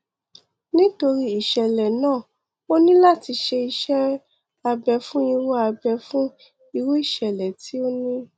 nítorí ìṣẹlẹ náà ó ní láti ṣe iṣẹ abẹ fún irú abẹ fún irú ìṣẹlẹ tí o ní